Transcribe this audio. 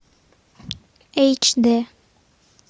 эйч дэ